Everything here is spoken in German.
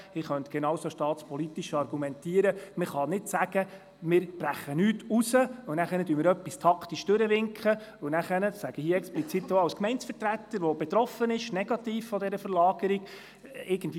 Ich könnte genauso staatspolitisch argumentieren, man dürfe nicht sagen, es werde nichts herausgebrochen, wobei dann etwas taktisch durchgewinkt wird, das dann ein paar Wochen später herausgebrochen werden soll.